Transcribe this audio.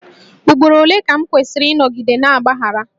Ugboro ole ka m kwesịrị ịnọgide na-agbaghara?